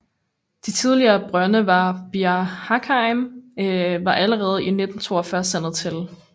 De tidligere brønde ved Bir Hakeim var allerede i 1942 sandet til